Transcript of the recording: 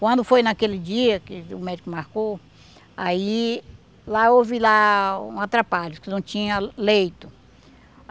Quando foi naquele dia que o médico marcou, aí lá houve lá um atrapalho, que não tinha leito.